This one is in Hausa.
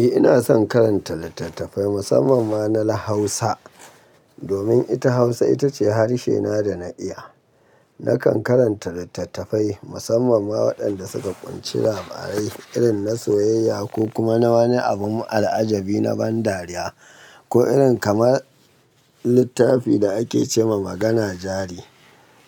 Eh ina son karanta littattafai musamman ma na Hausa. Domin ita Hausa ita ce harshe na da na iya. Nakan karanta littattafai musamman ma waɗanda suka ƙunshi labarai irin na soyayya ko kuma na wani abu al'ajabi na ban dariya ko irin kamar littafin da ake ce ma magana jari